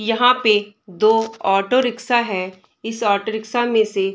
यहाँ पे दो ऑटो रिक्शा है इस ऑटो रिक्शा में से --